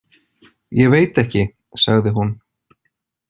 Ég veit ekki, sagði hún.